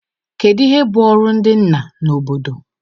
Kedu ihe bụ ọrụ ndị nna na obodo?